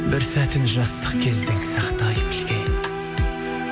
бір сәтін жастық кездің сақтай білген